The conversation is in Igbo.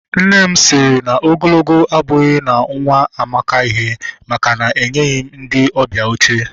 Nne sịrị m na ogologo abụghị na nwa m amaka ihe, maka na enyeghị m ndị ọbịa oche